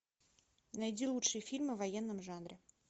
найди лучшие фильмы в военном жанре